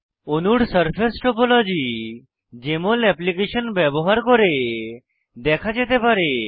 অণুর surface topology JML application ব্যবহার করে দেখা যেতে পারে